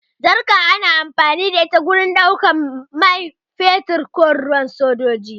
Jarka ana amfani da ita wajen ɗaukan mai fetur ko ruwa a wajen sojoji.